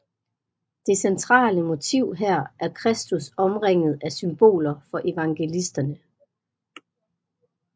Det centrale motiv her er Kristus omringet af symboler for evangelisterne